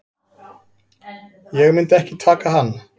Ég myndi ekki taka hann.